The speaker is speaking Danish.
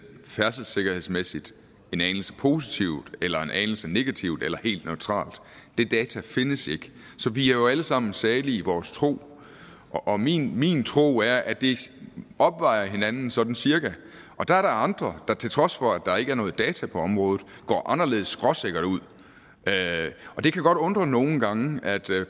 færdselssikkerhedsmæssigt en anelse positivt eller en anelse negativt eller helt neutralt det data findes ikke så vi er jo alle sammen salige i vores tro og min min tro er at det opvejer hinanden sådan cirka der er der andre der til trods for at der ikke er noget data på området går anderledes skråsikkert ud og det kan godt undre nogle gange at